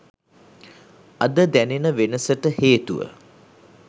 අද දැනෙන වෙනසට හේතුව